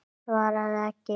Svaraði ekki.